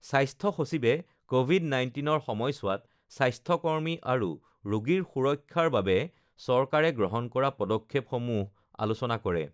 স্বাস্থ্য সচিবে কভিড ১৯ৰ সমযছোৱাত স্বাস্থ্য কৰ্মী আৰু ৰোগীৰ সুৰক্ষাৰ বাবে চৰকাৰে গ্ৰহণ কৰা পদক্ষেপসমূহ আলোচনা কৰে